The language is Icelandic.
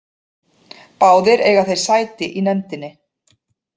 Báðir eiga þeir sæti í nefndinni